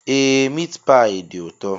Ee miit paayi dị ụtọ